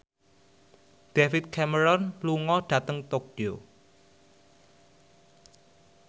David Cameron lunga dhateng Tokyo